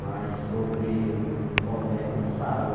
Mas sobre o problema, sarou.